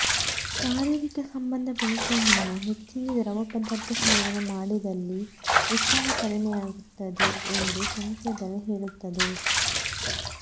ಶಾರೀರಿಕ ಸಂಬಂಧ ಬೆಳೆಸುವ ಮುನ್ನ ಹೆಚ್ಚಿಗೆ ದ್ರವ ಪದಾರ್ಥ ಸೇವನೆ ಮಾಡಿದಲ್ಲಿ ಉತ್ಸಾಹ ಕಡಿಮೆಯಾಗುತ್ತದೆ ಎಂದು ಸಂಶೋಧನೆ ಹೇಳುತ್ತದೆ